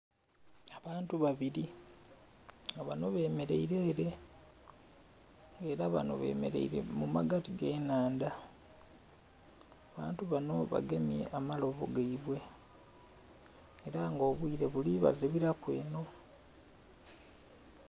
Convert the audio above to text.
Abantu babili nga bano bemeleire ele ela bano bemeleire mu magati g'ennhandha. Abantu bano bagemye amalobo gaibwe ela nga obwire buli bazibiraku eno.